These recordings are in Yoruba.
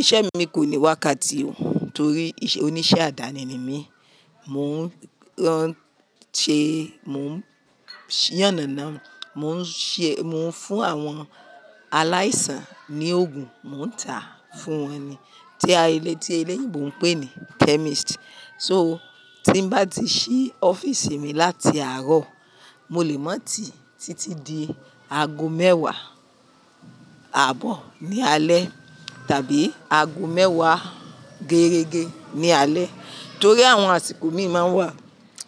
Iṣẹ́ mi kò ní wákàtí torí oníṣẹ́ àdáni ni mí. Mò ń ránṣe, mò ń yànnàná, mò ń ṣe, mò ń fún àwọn aláìsàn ní òògùn, mò ń tàá fún wọn ni. Tí a, tí eleyinbò ń pè ni chemist. So tí n bá ti ṣí ọ́fíísì mi láti àárọ̀, mo lè má tì títí di aago mẹ́wàá àbọ̀ ní alẹ́ tàbí aago mẹ́wàá gerégé ní alẹ́ torí àwọn àsìkò mí máa ń wà.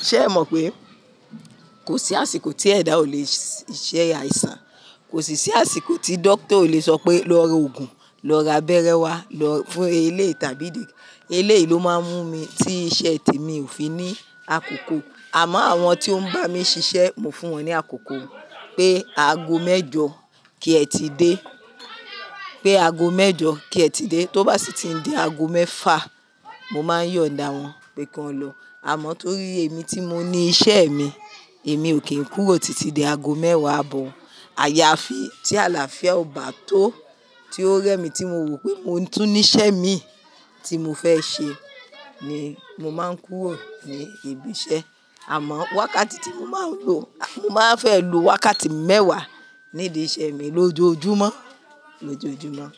Ṣé ẹ mọ̀ pé kò sí àsìkò tí ẹ̀dà ò le ṣe iṣẹ́ àìsàn? Kò sì sí àsìkò tí dókítà ò le sọ pé "lọ ra òògùn, lọ ra abẹ́rẹ́ wá lọ fún elé" tàbí elé yìí ló máa ń mú mi tí iṣẹ́ te mí ò fi ní àkókò. Àmọ́ àwọn tí ó ń bá mi ṣiṣẹ́, mo fún wọn ní àkókò pé aago mẹ́jọ kí ẹ ti dé. Pé aago mẹ́jọ kí ẹ ti dé. Tó bá sì ti ń di aago mẹ́fa, mo máa yọ̀ǹda wọn pé kán lọ. Àmọ́ torí èmi tí mo ní iṣẹ́ mi, èmi ò kí ń kúrò títí di aago mẹ́wàá àbọ̀. Àyàfi tí àlàáfíà ò bá tó, tí ó rẹ́ mi tí mo wò pé mo tún ní iṣẹ́ mi tí mo fẹ́ ṣe ni mo máa ń kúrò ní ibi iṣẹ́. Àmọ́ wákàtí tí mo máa ń lò, mo máa fẹ́ lò wákàtí mẹ́wàá nídi iṣẹ́ mi lójoojúmọ́, lójoojúmọ́